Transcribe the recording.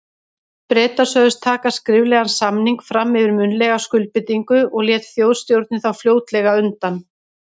Bretar sögðust taka skriflegan samning fram yfir munnlega skuldbindingu, og lét Þjóðstjórnin þá fljótlega undan.